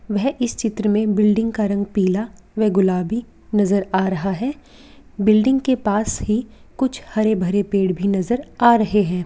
वह इस चित्र में बिल्डिंग का रंग पीला वे गुलाबी नजर आ रहा है बिल्डिंग के पास ही कुछ हरे भरे पेड़ भी नजर आ रहे है।